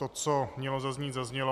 To, co mělo zaznít, zaznělo.